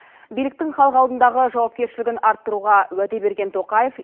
биліктің халық алдындағы жауапкершілігін арттыруға уәде берген тоқаев